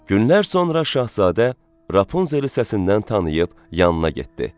Günlər sonra Şahzadə Rapunzeli səsindən tanıyıb yanına getdi.